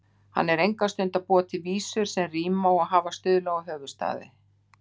Hann er enga stund að búa til vísur sem ríma og hafa stuðla og höfuðstafi.